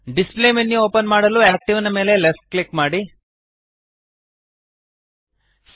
display menu open ಮಾಡಲು active ನ ಮೇಲೆ ಲೆಫ್ಟ್ ಕ್ಲಿಕ್ ಮಾಡಿರಿ